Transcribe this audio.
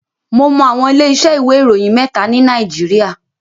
Mo mọ àwọn ilé iṣẹ́ ìwé ìròyìn mẹ́ta ni Nàìjíríà.